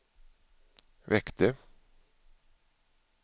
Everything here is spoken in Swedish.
väckte